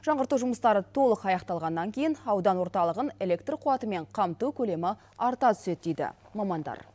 жаңғырту жұмыстары толық аяқталғаннан кейін аудан орталығын электр қуатымен қамту көлемі арта түседі дейді мамандар